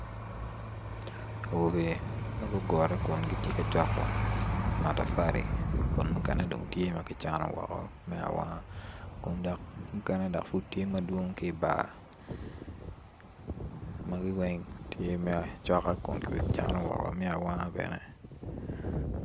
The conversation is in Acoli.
Awobe ma gugure kun gitye ka coko matafali kun mukene kicnogi kun mukene tye i bar magi weng tye me acoka me acana me awanga bene.